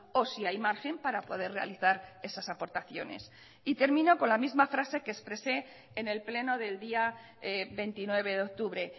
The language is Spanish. o si hay margen para poder realizar esas aportaciones y termino con la misma frase que expresé en el pleno del día veintinueve de octubre